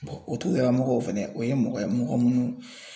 o togodalamɔgɔ fɛnɛ o ye mɔgɔ ye mɔgɔ minnu